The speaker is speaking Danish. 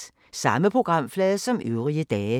Samme programflade som øvrige dage